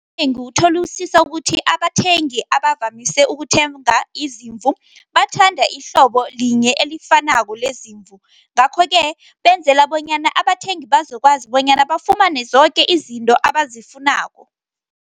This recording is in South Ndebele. Utholisisa ukuthi, abathengi abavamise ukuthenga izimvu, bathanda ihlobo linye elifanako lezimvu. Ngakho-ke, benzela bonyana abathengi bazokwazi, bonyana bafumane zoke izinto abazifunako.